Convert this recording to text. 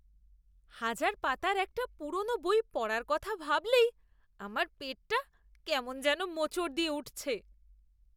হাজার পাতার একটা পুরনো বই পড়ার কথা ভাবলেই আমার পেটটা কেমন যেন মোচড় দিয়ে উঠছে।